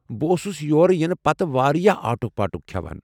بہٕ اوسس یور یِنہٕ پتہٕ واریاہ آٹُک پاٹُک کھٮ۪وان ۔